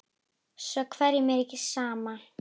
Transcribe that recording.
Svo hverjum er ekki sama?